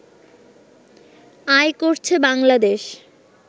আয় করছে বাংলাদেশ